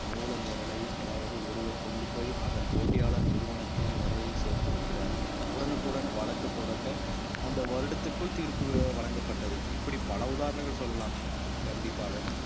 மூல நேரலை அதாவது ஒருவர் கொண்டு போய் அதன் போட்டியாளர் நிறுவனத்தில் நிரலில் சேர்த்து விடுகிறார் உடனுக்குடன் வழக்கு தொடக்க அந்த வருடத்திற்குள் தீர்ப்பு வழங்கப்பட்டது இப்படி பல உதாரணங்கள் சொல்லலாம் கண்டிப்பாக